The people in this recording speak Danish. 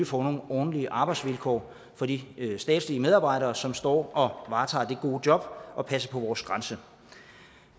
får nogle ordentlige arbejdsvilkår for de statslige medarbejdere som står og varetager det gode job at passe på vores grænse